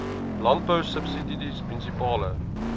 landbou subsidies munisipale